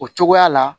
O cogoya la